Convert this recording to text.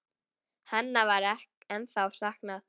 Hennar er ennþá saknað.